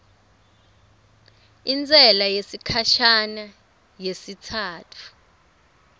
intsela yesikhashana yesitsatfu